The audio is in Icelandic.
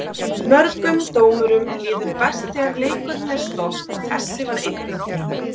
Mörgum dómurum líður best þegar leikurinn er stopp og þessi var einn af þeim.